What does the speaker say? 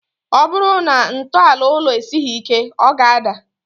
Ọ bụrụ na ntọala ụlọ esighi ike, ọ ga-ádà